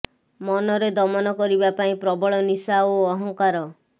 ମନରେ ଦମନ କରିବା ପାଇଁ ପ୍ରବଳ ନିଶା ଓ ଅହଙ୍କାର